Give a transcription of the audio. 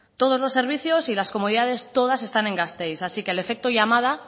todos los servicios y las comodidades todas están en gasteiz así que el efecto llamada